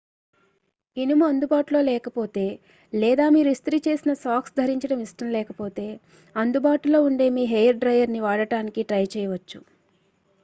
ఇనుము అందుబాటులో లేకపోతే లేదా మీరు ఇస్త్రీ చేసిన సాక్స్ ధరించడం ఇష్టం లేకపోతే అందుబాటులో ఉండే మీ హెయిర్ డ్రయ్యర్ను వాడటానికి ట్రై చేయవచ్చు